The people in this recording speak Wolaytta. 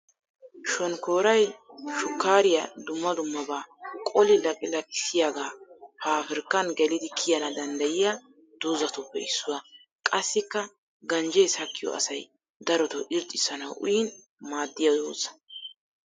Shonkkooray shukkaariya dumma dummabaa qoli laqilaqissiyaga paabrikkan gelidi kiyana danddayiya dozzatuppe issuwa. Qassikka ganjjee sakkiyo asay daroto irxxissanawu uyin maaddiya dozza.